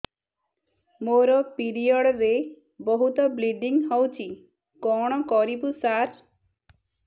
ମୋର ପିରିଅଡ଼ ରେ ବହୁତ ବ୍ଲିଡ଼ିଙ୍ଗ ହଉଚି କଣ କରିବୁ ସାର